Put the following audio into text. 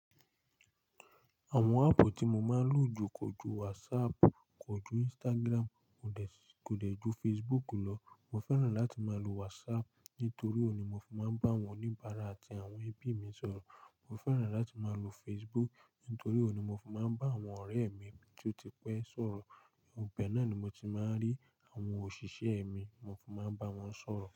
Àwọn app tí mo máa ń lò jù kò ju WhatsApp, kò ju Instagram, kò dẹ̀, kò dẹ̀ ju Facebook lọ. Mo fẹ́ràn láti máa lo WhatsApp nítorí òun ni mo fi máa ń bá àwọn oníbàárà àti àwọn ẹbí mi sọ̀rọ̀. Mo fẹ́ràn láti máa lo Facebook nítorí òun ni mo fi máa ń bá àwọn ọ̀rẹ́ mi tí ó ti pẹ́ sọ̀rọ̀. Ibẹ́ẹ̀ náà ni mo ti máa ń rí àwọn òṣìṣẹ́ mi, mo fi máa ń bá wọn sọ̀rọ̀.